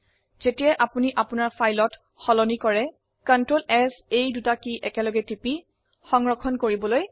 মনে ৰাখক কোনো পৰিবৰ্তন কৰাৰ পিছত আপনাৰ ফাইল সংৰক্ষণ কৰিবলৈ Ctrl s কী দুটি একসলগে টিপক